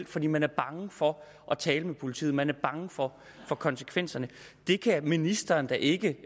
fordi man er bange for at tale med politiet man er bange for for konsekvenserne det kan ministeren da ikke